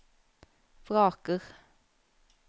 vraker